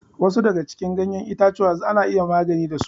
Wasu daga cikin ganyen itatuwa ana iya magani da su.